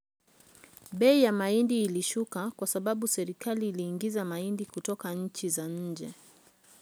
bei ya mahindi ulishuka kwa sababu serikali iliagiza mahindi kutoka nchi za nje